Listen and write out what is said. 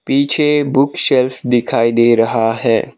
पीछे book shelf दिखाई दे रहा है।